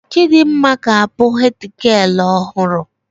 Chidimma ga abụ hedgialụ ọhụrụ